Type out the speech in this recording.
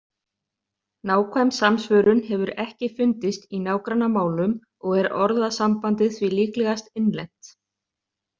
Nákvæm samsvörun hefur ekki fundist í nágrannamálum og er orðasambandið því líklegast innlent.